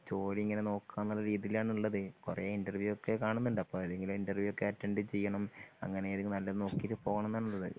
ജോലി ഇങ്ങനെ നോക്കാന്നുള്ള രീതിയിലാണുള്ളത് കൊറേ ഇന്റർവ്യൂ ഒക്കെ കാണുന്നുണ്ട് അപ്പൊ എന്തെങ്കിലും ഇന്റർവ്യൂ അറ്റൻറ്റ് ചെയ്യണം അങ്ങനൊക്കെ നോക്കിട്ട് പോണെന്നാണുള്ളത്.